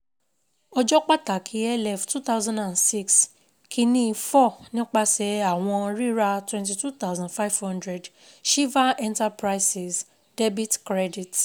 Ọjọ́ pàtàkì L F two thousand and six kinní-ín four nípasẹ̀ẹ àwọn ríra twenty two thousand five hundred SHIVA ENTERPRISES debit credit